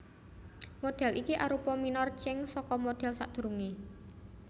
Modhél iki arupa minor change saka modhél sadurungé